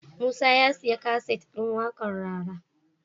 Musa ya siya kaset din waƙar rara